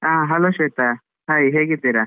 ಹಾ hello Shweta, hai ಹೇಗಿದ್ದೀರಾ?